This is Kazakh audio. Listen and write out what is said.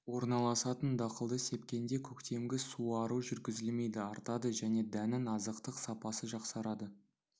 орналасатын дақылды сепкенде көктемгі суару жүргізілмейді артады және дәннің азықтық сапасы жақсарады